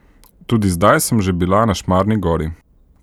Tudi zdaj sem že bila na Šmarni gori.